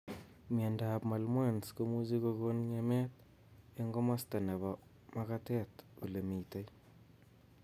Miondop malmoense komuchi kokon ng'emet eng' komasta nebo magatet olemitei